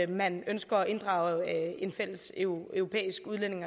man ønsker at inddrage en fælles europæisk